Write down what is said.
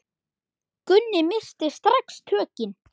Gunni missti strax tökin.